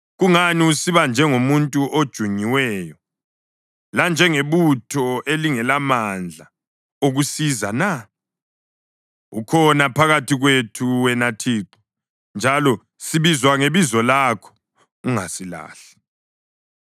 Kungani usiba njengomuntu ojunyiweyo, lanjengebutho elingelamandla okusiza na? Ukhona phakathi kwethu, wena Thixo, njalo sibizwa ngebizo lakho; ungasilahli!